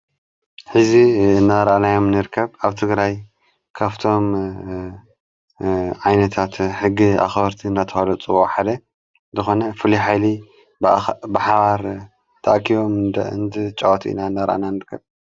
ሕዚ ናርዓናዮም ንርከብ ኣብቲ ግራይ ካፍቶም ዓይነታት ሕጊ ኣኸበርቲ ናተዋዶ ጽዋሕደ ዝኾነ ፍልኃይሊ ብሓባር ታኣኪዮም ደእንቲ ጨዋት ኢና እናርአና ንርከብ።